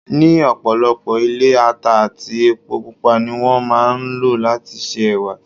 Ní ọ̀pọ̀lọpọ̀ ilé, ata àti epo Pupa ni wón máa ń lò láti se Ẹ̀wà.